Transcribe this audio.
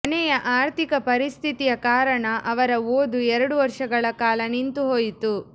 ಮನೆಯ ಆರ್ಥಿಕ ಪರಿಸ್ಥಿತಿಯ ಕಾರಣ ಅವರ ಓದು ಎರಡು ವರ್ಷಗಳ ಕಾಲ ನಿಂತು ಹೋಯಿತು